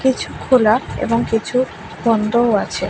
কিছু খেলা এবং কিছু বন্ধও আছে।